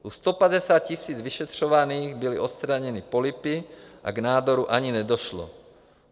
U 150 000 vyšetřovaných byly odstraněny polypy a k nádoru ani nedošlo.